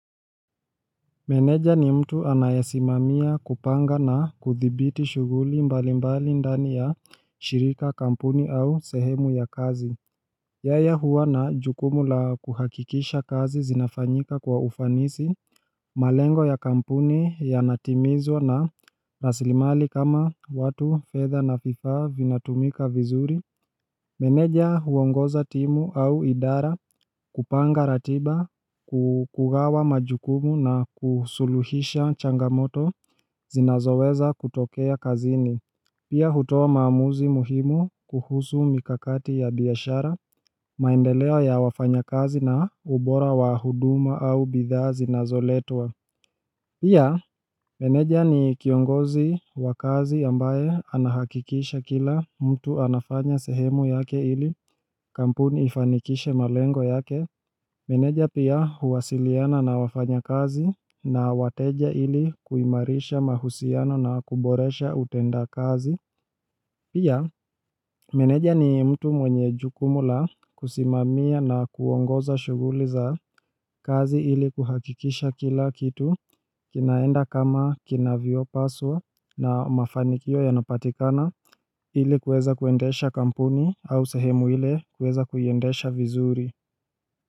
Meneja ni mtu anayesimamia kupanga na kuthibiti shughuli mbali mbali ndani ya shirika kampuni au sehemu ya kazi Yeye huwa na jukumu la kuhakikisha kazi zinafanyika kwa ufanisi malengo ya kampuni yanatimizwa na rasilimali kama watu fedha na vifaa vinatumika vizuri Meneja huongoza timu au idara kupanga ratiba ku kugawa majukumu na kusuluhisha changamoto zinazoweza kutokea kazini Pia hutoa maamuzi muhimu kuhusu mikakati ya biashara maendeleo ya wafanya kazi na ubora wa huduma au bidhaa zinazoletwa Pia meneja ni kiongozi wa kazi ambaye anahakikisha kila mtu anafanya sehemu yake ili Kampuni ifanikishe malengo yake Meneja pia huwasiliana na wafanya kazi na wateja ili kuimarisha mahusiano na kuboresha utenda kazi Pia, meneja ni mtu mwenye jukumu la kusimamia na kuongoza shughuli za kazi ili kuhakikisha kila kitu kinaenda kama kinavyo paswa na mafanikio yanapatikana ile kuweza kuendesha kampuni au sehemu ile kuweza kuiendesha vizuri.